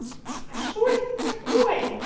а что это такое